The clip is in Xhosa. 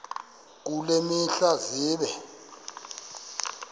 kule mihla zibe